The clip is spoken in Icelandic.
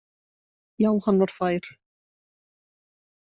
Já, hann var fær!